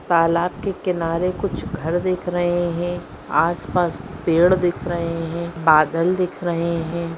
तालाब के किनारे कुछ घर देख रहे हैं आसपास पेड़ दिख रहे हैं बादल दिख रहे हैं।